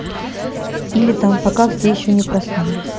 или там пока все ещё не проснулись